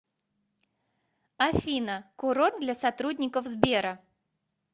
афина курорт для сотрудников сбера